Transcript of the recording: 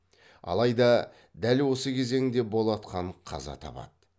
алайда дәл осы кезеңде болат хан қаза табады